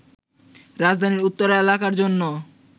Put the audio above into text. রাজধানীর উত্তরা এলাকার জন্য